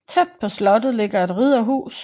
Tæt på slottet ligger et ridderhus